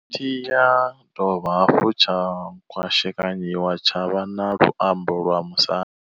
Tshi ya dovha hafhu tsha kwashekanyiwa tsha vha na luambo lwa Musanda.